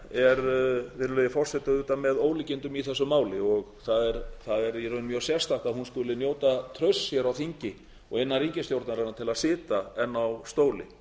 er virðulegi forseti auðvitað með ólíkindum í þessu máli og það er í raun mjög sérstakt að hún skuli njóta trausts á þingi og innan ríkisstjórnarinnar til að sitja enn á stóli